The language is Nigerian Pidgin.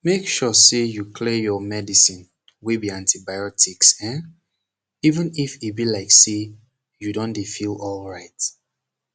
make sure say you clear your medicine wey be antibiotics eh even if e be like say u don dey feel alright